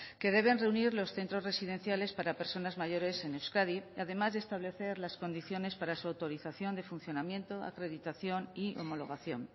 que deben reunir los centros residenciales para personas mayores en euskadi además de establecer las condiciones para su autorización de funcionamiento acreditación y homologación